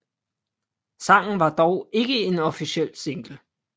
Sangen var dog ikke en officiel single